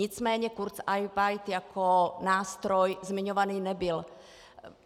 Nicméně kurzarbeit jako nástroj zmiňovaný nebyl.